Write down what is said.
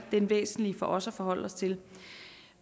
det væsentlige for os at forholde os til